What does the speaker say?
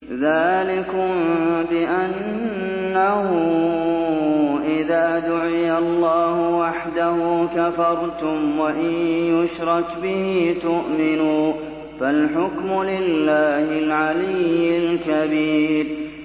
ذَٰلِكُم بِأَنَّهُ إِذَا دُعِيَ اللَّهُ وَحْدَهُ كَفَرْتُمْ ۖ وَإِن يُشْرَكْ بِهِ تُؤْمِنُوا ۚ فَالْحُكْمُ لِلَّهِ الْعَلِيِّ الْكَبِيرِ